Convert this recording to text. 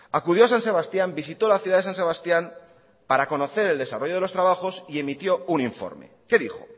acudió a san sebastián visitó la ciudad de san sebastián para conocer el desarrollo de los trabajos y emitió un informe qué dijo